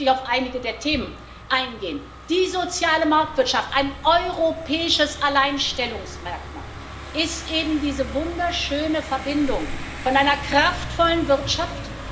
Deshalb möchte ich auf einige der Themen eingehen Die soziale Marktwirtschaft, ein europäisches Alleinstellungsmerkmal, ist eben diese wunderschöne Verbindung von einer kraftvollen Wirtschaft.